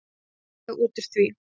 Hvað fæ ég út úr því?